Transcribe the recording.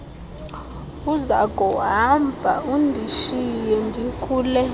uzakuhamba undishiye ndikule